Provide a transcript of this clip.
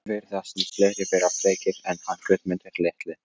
Það virðast nú fleiri vera frekir en hann Guðmundur litli